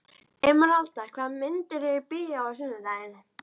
Emeralda, hvaða myndir eru í bíó á sunnudaginn?